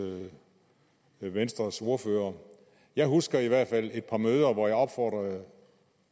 venstres ordfører jeg husker i hvert fald et par møder hvor jeg opfordrede